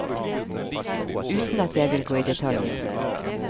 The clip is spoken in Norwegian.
Uten at jeg vil gå i detaljer.